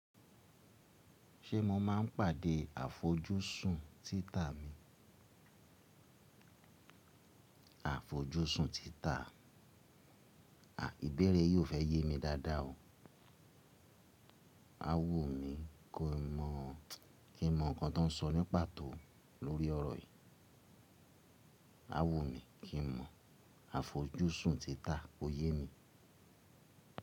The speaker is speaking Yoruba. Ṣé mo máa ń pàdé àfojúsùn títa mi? Àfojúsùn títa. Ìbéèrè yìí ò fẹ́ yé mi dáadáa o. A wumí kí n mọ̀, kí n mọ̀ ǹkan tó ń sọ ní pàtó lórí ọ̀rọ̀ yìí. A wumí kí n mọ̀ àfojúsùn títa, kó yé mi.